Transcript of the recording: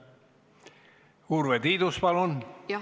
Urve Tiidus, palun!